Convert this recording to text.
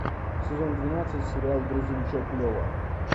сезон двенадцать сериал грузовичок лева